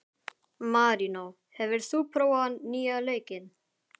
Marínó, hefur þú prófað nýja leikinn?